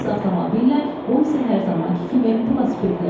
Biz avtomobillə, o isə hər zamankı kimi velosipedlə.